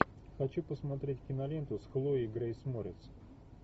хочу посмотреть киноленту с хлоей грейс морец